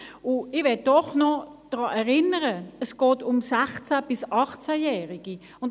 Ich möchte Sie daran erinnern, dass es um 16 bis 18 Jährige geht.